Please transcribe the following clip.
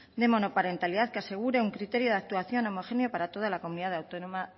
de monoparentalidad que asegure un criterio de actuación homogéneo para toda la comunidad autónoma